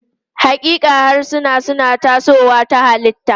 Haƙiƙa, harsuna suna tasowa ta halitta.